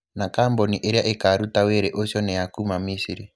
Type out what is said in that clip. Na kambuni ĩrĩa ĩkaruuta wĩrĩ ucio nĩ ya kuuma Misiri.